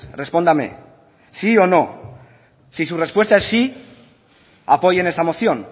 respóndame sí o no si su respuesta es sí apoyen esta moción